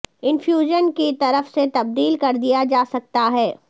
infusion کی طرف سے تبدیل کر دیا جا سکتا ہے